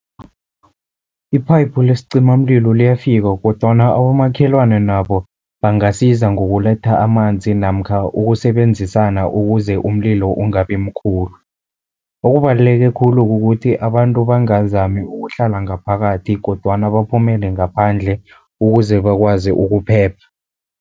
Iphayiphu lesicimamlilo liyafika kodwana abomakhelwana nabo bangasiza ngokuletha amanzi, namkha ukusebenzisana ukuze umlilo ungabi mkhulu. Okubaluleke khulu kukuthi abantu bangazami ukuhlala ngaphakathi kodwana baphumele ngaphandle, ukuze bakwazi ukuphepha.